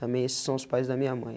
Também esses são os pais da minha mãe.